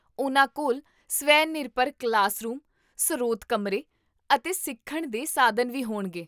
ਉਹਨਾਂ ਕੋਲ ਸਵੈ ਨਿਰਭਰ ਕਲਾਸਰੂਮ, ਸਰੋਤ ਕਮਰੇ, ਅਤੇ ਸਿੱਖਣ ਦੇ ਸਾਧਨ ਵੀ ਹੋਣਗੇ